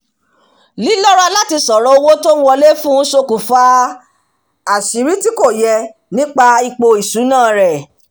lílọ́ra láti sọ̀rọ̀ owó tó ń wọlé fún ṣokùnfà àṣírí tí kò yẹ nípa ipò ìṣúná rẹ̀